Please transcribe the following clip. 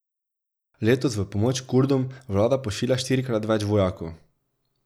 Letos v pomoč Kurdom vlada pošilja štirikrat več vojakov.